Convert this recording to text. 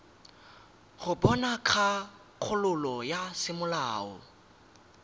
go bona kgakololo ya semolao